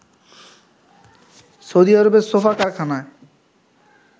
Saudi আরবের sofa কারখানায়